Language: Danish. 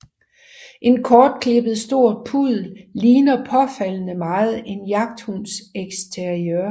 En kortklippet stor puddel ligner påfaldende meget en jagthunds eksteriør